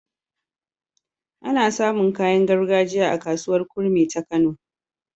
Ana samun kayan gargajiya a kasuwar kurmi ta kano